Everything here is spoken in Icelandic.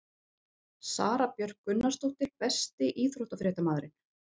Sara Björk Gunnarsdóttir Besti íþróttafréttamaðurinn?